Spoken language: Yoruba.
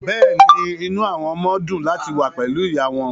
Bẹ́ẹ̀ ni, inú àwọn ọmọ dùn láti wà pẹ̀lú ìyá wọn